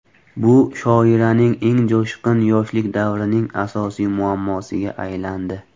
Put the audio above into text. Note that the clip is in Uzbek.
Bu shoiraning eng jo‘shqin yoshlik davrining asosiy muammosiga aylandi.